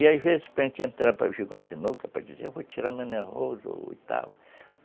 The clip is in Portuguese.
E às vezes para gente entrar para jogar um sinuca, para dizer, eu vou tirar o e tal